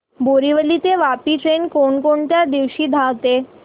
बोरिवली ते वापी ट्रेन कोण कोणत्या दिवशी धावते